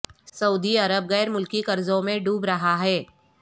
سعودی عرب غیر ملکی قرضوں میں ڈوب رہا ہے